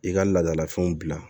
I ka laadalafɛnw bila